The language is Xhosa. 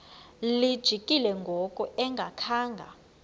lijikile ngoku engakhanga